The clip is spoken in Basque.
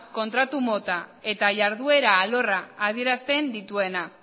kontratu mota eta jarduera alorra adierazpen dituena